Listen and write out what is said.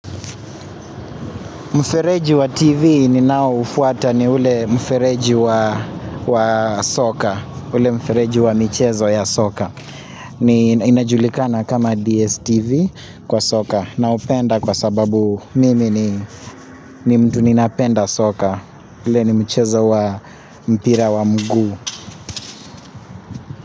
Mfereji wa TV ninaoufuata ni ule mfereji wa soka, ule mfereji wa michezo ya soka. Ni inajulikana kama DSTV kwa soka naupenda kwa sababu mimi ni mtu ninapenda soka. Ule ni mchezo wa mpira wa mguu.